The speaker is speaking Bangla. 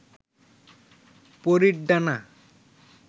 পরীর ডানা